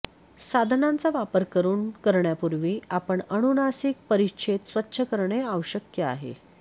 साधनांचा वापर करून करण्यापूर्वी आपण अनुनासिक परिच्छेद स्वच्छ करणे आवश्यक आहे